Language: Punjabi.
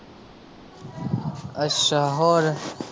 ਅੱਛਾ, ਹੋਰ।